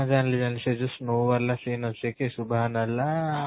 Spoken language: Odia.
ଜାଣିଲି ଜାଣିଲି ସେ ଯୋଉ snow scene ଅଛି କି